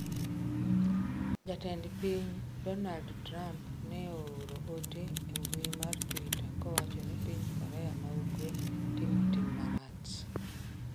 Jatend pinyno Donald Trump ne ooro ote e mbui mar Twitter kowacho ni piny Korea ma Ugwe timo "tim marach".